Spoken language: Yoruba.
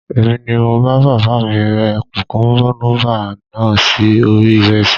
Èmi ni mo bá bàbá mi rẹ́ kùkúmúbá náà sí orí ìrẹsì